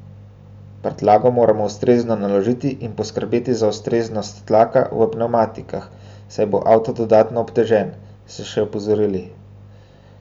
Prtljago moramo ustrezno naložiti in poskrbeti za ustreznost tlaka v pnevmatikah, saj bo avto dodatno obtežen, so še opozorili.